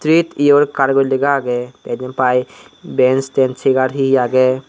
treat your car guri lega agey te jian pai bench tench chair he he agey.